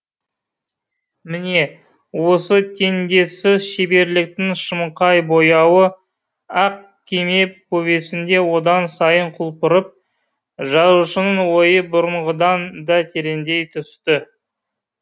міне осы теңдессіз шеберліктің шымқай бояуы ақ кеме повесінде одан сайын құлпырып жазушының ойы бұрынғыдан да тереңдей түсті